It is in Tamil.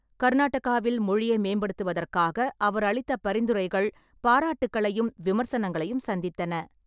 கர்நாடகாவில் மொழியை மேம்படுத்துவதற்காக அவர் அளித்த பரிந்துரைகள் பாராட்டுக்களையும் விமர்சனங்களையும் சந்தித்தன.